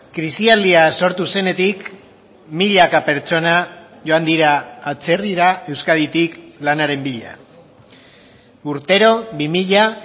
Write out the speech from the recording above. krisialdia sortu zenetik milaka pertsona joan dira atzerrira euskaditik lanaren bila urtero bi mila